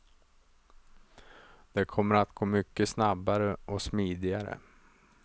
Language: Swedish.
Det kommer att gå mycket snabbare och smidigare.